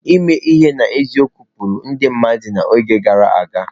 Ime ihe n'eziokwu kpụrụ ndị mmadụ n'oge gara aga.